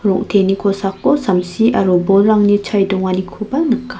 rong·teni kosako samsi aro bolrangni chae donganikoba nika.